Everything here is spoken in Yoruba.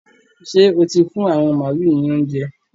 Ṣé o ti fún àwọn màálu ní óuńjẹ?